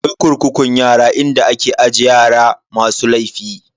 Akwai kurkukun yara inda ake aje yara masu laifi.